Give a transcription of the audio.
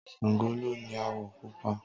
Sàngó ló ni àwọ̀ Pupa